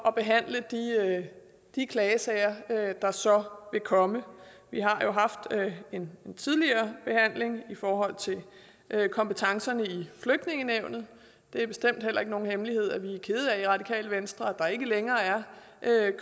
at behandle de klagesager der så vil komme vi har jo haft en tidligere behandling i forhold til kompetencerne i flygtningenævnet det er bestemt heller ikke nogen hemmelighed at vi i radikale venstre er der ikke længere er